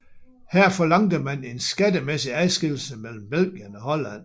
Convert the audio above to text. Her forlangte man en skattemæssig adskillelse mellem Belgien og Holland